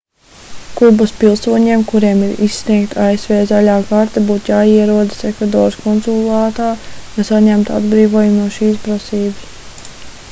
kubas pilsoņiem kuriem ir izsniegta asv zaļā karte būtu jāierodas ekvadoras konsulātā lai saņemtu atbrīvojumu no šīs prasības